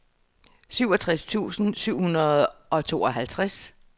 syvogtres tusind syv hundrede og tooghalvtreds